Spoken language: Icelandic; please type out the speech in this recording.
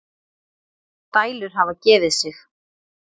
Dælur hafa gefið sig.